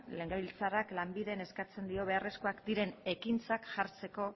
legebiltzarrak lanbiden eskatzen dio beharrezkoak diren ekintzak jartzeko